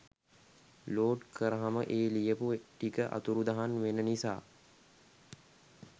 load කරහම ඒ ලියපු ටික අතුරුදහන් වෙන නිසා